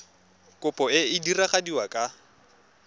kopo e e diragadiwa ka